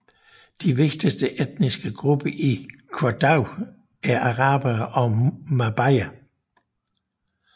De vigtigste etniske grupper i Ouaddaï er arabere og mabaer